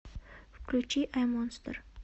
включи ай монстер